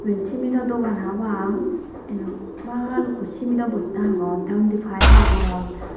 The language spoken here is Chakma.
iben simido dogan habang inot balukko simido bochta agon te undo payeb agon.